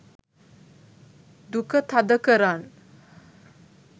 duka thada karan